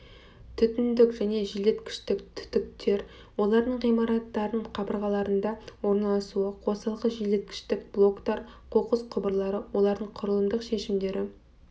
түтіндік және желдеткіштік түтіктер олардың ғимараттардың қабырғаларында орналасуы қосалқы желдеткіштік блоктар қоқыс құбырлары олардың құрылымдық шешімдері